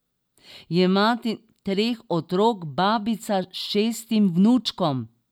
Je mati treh otrok, babica šestim vnučkom.